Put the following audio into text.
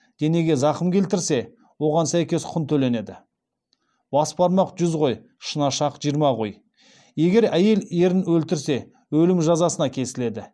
денеге зақым келтірсе оған сәйкес құн төленеді егер әйел ерін өлтірсе өлім жазасына кесіледі